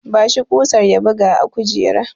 Ba shi kusar ya buga a kujera!